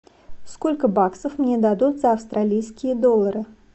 сколько баксов мне дадут за австралийские доллары